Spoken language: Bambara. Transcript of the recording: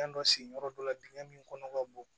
Fɛn dɔ sigi yɔrɔ dɔ la dingɛ min kɔnɔ ka bon